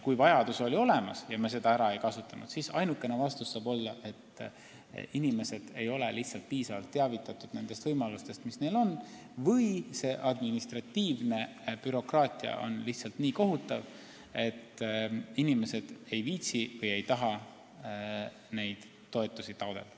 Kui vajadus oli olemas, aga me raha ära ei kasutanud, siis saab ainukene põhjus olla see, et inimesi ei ole piisavalt teavitatud nendest võimalustest, mis neil on, või on administratiivne bürokraatia lihtsalt nii kohutav, et inimesed ei viitsi või ei taha neid toetusi taotleda.